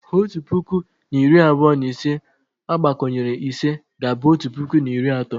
Otu puku na iri abụọ na ise agbakọnyere ise ga-abụ otu puku na iri atọ